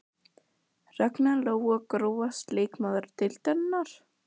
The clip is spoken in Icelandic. Ragna Lóa Grófasti leikmaður deildarinnar?